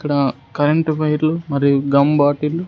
ఇక్కడ కరెంటు వైర్లు మరియు గమ్ బాటిల్లు .